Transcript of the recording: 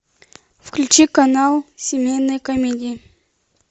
включи канал семейные комедии